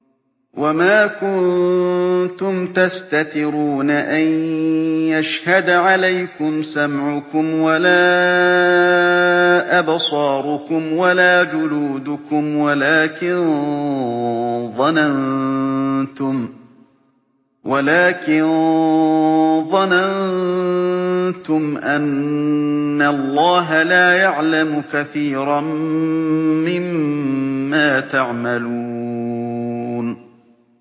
وَمَا كُنتُمْ تَسْتَتِرُونَ أَن يَشْهَدَ عَلَيْكُمْ سَمْعُكُمْ وَلَا أَبْصَارُكُمْ وَلَا جُلُودُكُمْ وَلَٰكِن ظَنَنتُمْ أَنَّ اللَّهَ لَا يَعْلَمُ كَثِيرًا مِّمَّا تَعْمَلُونَ